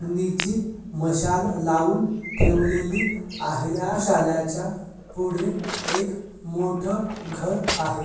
नीचे मशाल लावून ठेवलेली आहे या शाळ्याच्या पुढे एक मोठ घर आहे.